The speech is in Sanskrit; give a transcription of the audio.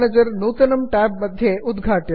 रेस्टार्ट् नौ रिस्टार्ट् नौ इत्यत्र नुदन्तु